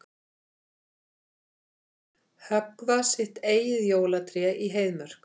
Höggva sitt eigið jólatré í Heiðmörk